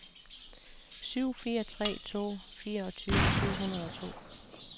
syv fire tre to fireogtyve syv hundrede og to